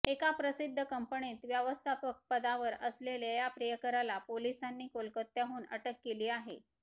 एका प्रसिद्ध कंपनीत व्यवस्थापक पदावर असलेल्या या प्रियकराला पोलिसांनी कोलकात्याहून अटक केली आहे